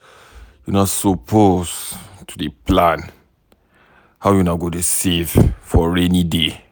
Una suppose to dey plan how una go dey save for rainy day.